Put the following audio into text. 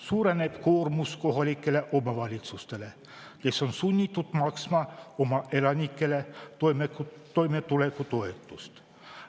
Suureneb koormus kohalikel omavalitsustel, kes on sunnitud maksma oma elanikele toimetulekutoetust.